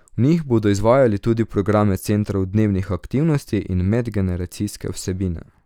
V njih bodo izvajali tudi programe centrov dnevnih aktivnosti in medgeneracijske vsebine.